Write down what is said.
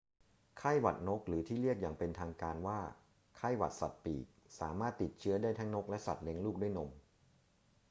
ไข้หวัดนก หรือที่เรียกอย่างเป็นทางการว่าไข้หวัดสัตว์ปีกสามารถติดเชื้อได้ทั้งนกและสัตว์เลี้ยงลูกด้วยนม